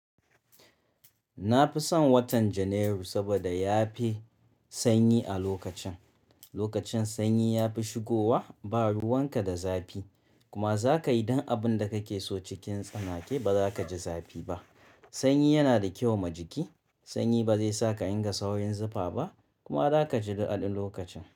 Nafi son watan janairu saboda yafi sanyi a lokacin. Lokacin sanyi ya fi shigowa, ba ruwan ka da zafi, kuma za ka yi duk abin da kake so cikin tsanake ba za ka ji zafi ba. Sanyi yana da kyau ma jiki. Sanyi ba zai sa ka inga saurin zufa ba kuma za ka ji daɗin lokacin.